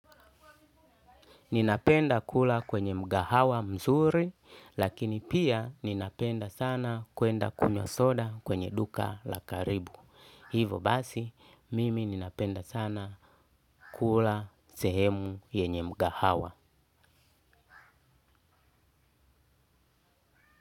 Ninapenda kula kwenye mgahawa mzuri, lakini pia ninapenda sana kuenda kunywa soda kwenye duka la karibu. Hivo basi, mimi ninapenda sana kula sehemu yenye mgahawa.